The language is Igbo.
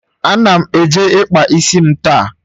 Ana m eje ịkpa isi m taa